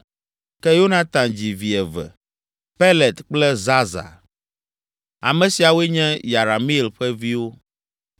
ke Yonatan dzi vi eve: Pelet kple Zaza. Ame siawoe nye Yerameel ƒe viwo.